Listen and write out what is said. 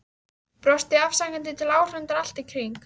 Brosti afsakandi til áhorfenda allt í kring.